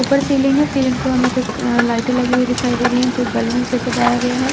ऊपर सीलिंग है सीलिंग पे हमें कुछ लाइटे लगी हुई दिखाई दे रही है कुछ बैलून से सजाया गया है।